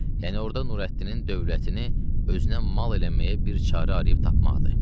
Yəni orda Nurəddinin dövlətini özünə mal eləməyə bir çarə ariyib tapmaqdır.